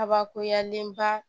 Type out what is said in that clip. Kabakoyalen ba